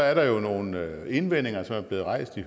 er der jo nogle indvendinger som er blevet rejst i